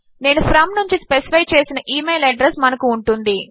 నేను ఫ్రోమ్ నుంచి స్పెసిఫై చేసిన ఇమెయిల్ అడ్రెస్ మనకు ఉంటుంది